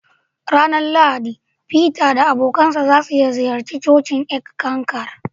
A ranar Lahadi, feter da abokansa za su ziyarci cocin Eckankar.